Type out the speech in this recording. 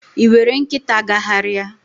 Ị were nkịta gagharịa?